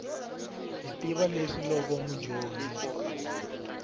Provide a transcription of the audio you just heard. hi tiva leswi loko mudyondzi